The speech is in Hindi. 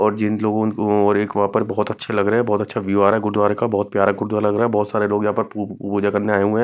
और जिन लोगों को और एक वहाँ पर बहुत अच्छे लग रहे हैं बहुत अच्छा व्यू आ रहा है गुरुद्वारे का बहुत प्यारा गुरुद्वारा लग रहा है बहुत सारे लोग यहाँ पर पू पूजा करने आए हुए हैं।